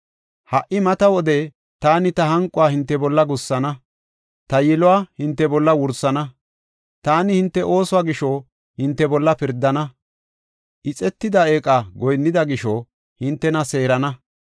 Ha77i mata wode taani ta hanquwa hinte bolla gussana; ta yiluwa hinte bolla wursana. Taani hinte oosuwa gisho hinte bolla pirdana; ixetida eeqa goyinnida gisho hintena seerana.